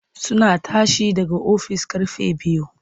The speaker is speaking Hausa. Suna tashi daga ofis ƙarfe biyu.